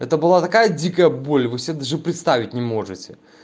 это была такая дикая боль вы себе даже представить не можете